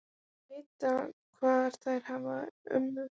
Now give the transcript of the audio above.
Þær vita hvar þær hafa ömmu.